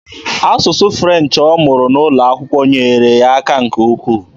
Asụsụ French ọ mụrụ N'ụlọakwụkwọ nyeere ya aka nke ukwu.